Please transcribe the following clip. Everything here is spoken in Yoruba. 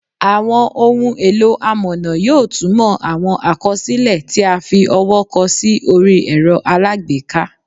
Àwọn ohun èlò amọ̀nà yóò túmọ̀ àwọn àkọsílẹ̀ tí a fi ọwọ́ kọ sí orí ẹ̀rọ alágbèéká